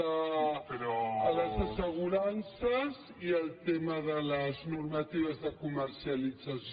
el tema de les assegurances i el tema de les normatives de comercialització